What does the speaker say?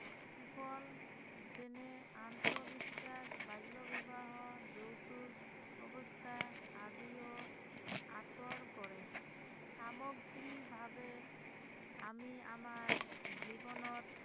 কুফল যেনে অন্ধ বিশ্বাস, বাল্য বিবাহৰ, যৌতুক অৱস্থা আদিও আঁতৰ কৰে, সামগ্ৰিকভাৱে আমি আমাৰ জীৱনত